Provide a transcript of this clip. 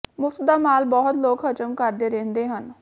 ਮੁਫ਼ਤ ਦਾ ਮਾਲ ਬਹੁਤ ਲੋਕ ਹਜ਼ਮ ਕਰਦੇ ਰਹਿੰਦੇ ਹਨ